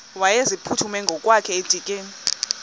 wayeziphuthume ngokwakhe edikeni